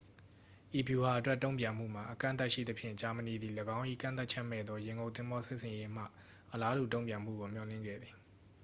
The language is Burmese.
ဤဗျူဟာအတွက် တုန့်ပြန်မှုမှာ အကန့်အသတ်ရှိသဖြင့် ဂျာမဏီသည် ၎င်း၏ ကန့်သတ်ချက်မဲ့သော ရေငုပ်သင်္ဘောစစ်ဆင်ရေးမှ အလားတူတုန့်ပြန်မှုကို မျှော်လင့်ခဲ့သည်